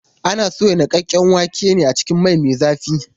Ana soya niƙaƙƙen waken ne a cikin mai me zafi.